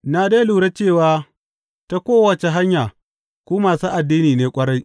Na dai lura cewa ta kowace hanya ku masu addini ne ƙwarai.